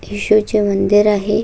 हे शिव चे मंदिर आहे.